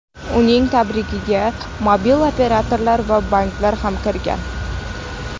Uning tarkibiga mobil operatorlar va banklar ham kirgan.